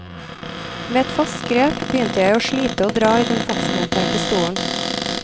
Med et fast grep begynte jeg å slite å dra i den fastmonterte stolen.